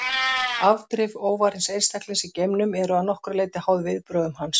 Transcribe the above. Afdrif óvarins einstaklings í geimnum eru að nokkru leyti háð viðbrögðum hans.